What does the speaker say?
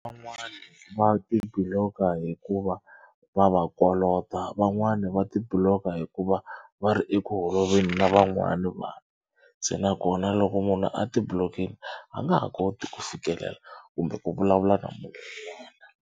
Van'wani va ti block-a hikuva va va kolota van'wani va ti block-a hikuva va ri eku holoveli na van'wana vanhu. Se nakona loko munhu a ti block-ini a nga ha koti ku fikelela kumbe ku vulavula na munhu un'wana.